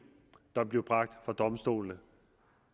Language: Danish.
der blev bragt for domstolen